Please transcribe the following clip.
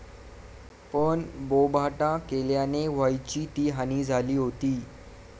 पण बोभाटा केल्याने व्हायची ती हानी झाली होती.